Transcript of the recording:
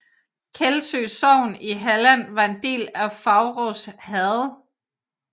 Kællsjø sogn i Halland var en del af Faurås herred